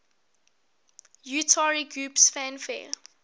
utari groups fanfare